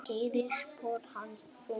Gerir spor hans þung.